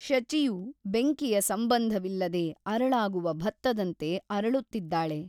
ಶಚಿಯು ಬೆಂಕಿಯ ಸಂಬಂಧವಿಲ್ಲದೆ ಅರಳಾಗುವ ಭತ್ತದಂತೆ ಅರಳುತ್ತಿದ್ದಾಳೆ.